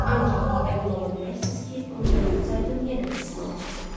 Ancaq əmin ola bilərsiniz ki, onu mən udsaydım, yenə də sizin olacaqdı.